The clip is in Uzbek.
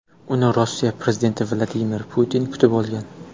Uni Rossiya prezidenti Vladimir Putin kutib olgan.